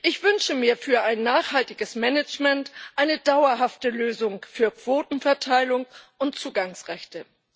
Ich wünsche mir für ein nachhaltiges Management eine dauerhafte Lösung für Quotenverteilung und Zugangsrechte.